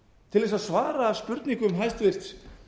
til þess að svara spurningum hæstvirtur